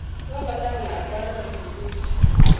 Kokotar lakwanon sukul